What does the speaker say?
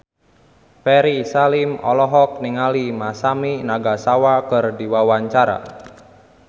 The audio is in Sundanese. Ferry Salim olohok ningali Masami Nagasawa keur diwawancara